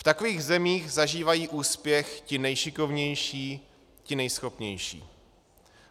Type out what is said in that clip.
V takových zemích zažívají úspěch ti nejšikovnější, ti nejschopnější.